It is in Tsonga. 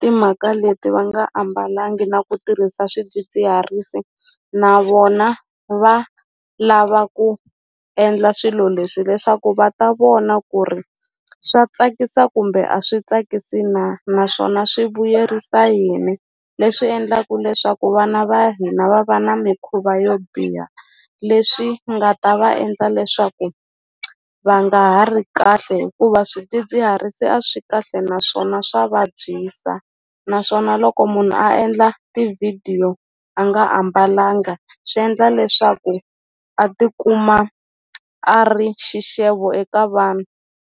timhaka leti va nga ambalangi na ku tirhisa swidzidziharisi na vona va lava ku endla swilo leswi leswaku va ta vona ku ri swa tsakisa kumbe a swi tsakisi na naswona swi vuyerisa yini leswi endlaku leswaku vana va hina va va na mikhuva yo biha leswi nga ta va endla leswaku va nga ha ri kahle hikuva swidzidziharisi a swi kahle naswona swa vabyisa naswona loko munhu a endla tivhidiyo a nga a mbalanga swi endla leswaku a tikuma a ri xixevo eka vanhu.